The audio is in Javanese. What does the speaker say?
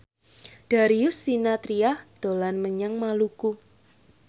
Darius Sinathrya dolan menyang Maluku